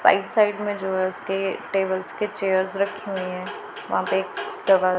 side side में जो है उसके टेबल्स के चेयर्स रखे हुए हैं वहां पे एक दवा--